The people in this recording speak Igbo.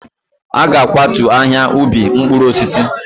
A ga-akwatu ahịa ubi mkpụrụ osisi.